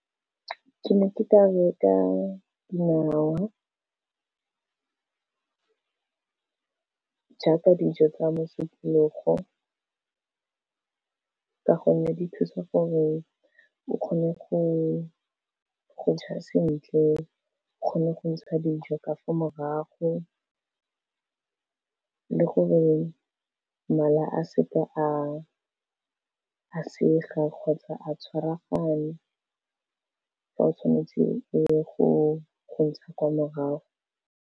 Ke ne ke ka reka dinawa ka jaaka dijo tsa mosupologo, ka gonne di thusa gore o kgone go ja sentle, o kgone go ntsha dijo ka fa morago le gore mala a se ke a sega kgotsa a tshwaragana fa o tshwanetse o ye go ntsha kwa morago.